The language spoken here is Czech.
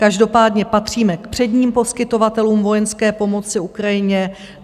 Každopádně patříme k předním poskytovatelům vojenské pomoci Ukrajině.